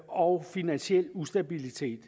og finansiel ustabilitet